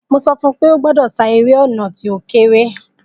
Mo sọfún pé ó gbọ́dọ̀ sá eré ọ̀nà tí ó kééré